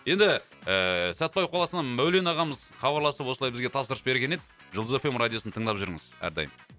енді ііі сәтпаев қаласынан мәулен ағамыз хабарласып осылай бізге тапсырыс берген еді жұлдыз эф эм радиосын тыңдап жүріңіз әрдайым